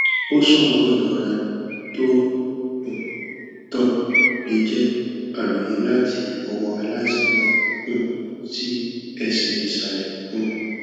ó ṣọwọn ìrora tó ń um tàn lè jẹ àròyé láti ọwọ aláìsàn náà um sí ẹsẹ ìsàlẹ um